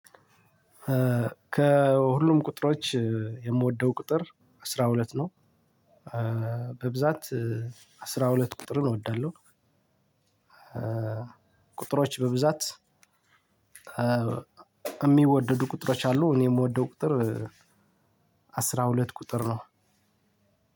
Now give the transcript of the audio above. ከሁሉም ቁጥሮች የምወደው ቁጥር አስራ ሁለት ነው። በብዛት አስራ ሁለት ቁጥርን እወዳለሁ ቁጥሮች በብዛት የሚወደዱ ቁጥሮች አሉ። እኔ የምወደው ቁጥር አስራ ሁለት ቁጥር ነው።